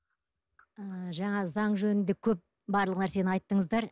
ы жаңа заң жөнінде көп барлық нәрсені айттыңыздар